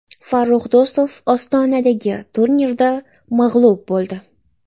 Farrux Do‘stov Ostonadagi turnirda mag‘lub bo‘ldi.